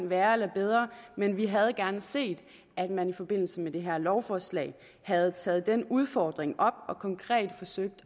værre eller bedre men vi havde gerne set at man i forbindelse med det her lovforslag havde taget den udfordring op og konkret forsøgt